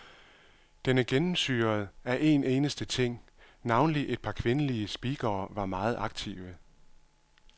Den er gennemsyret af en eneste ting. Navnlig et par kvindelige speakere var meget aktive.